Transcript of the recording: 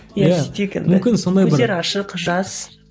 иә сөйтейік енді көздері ашық жас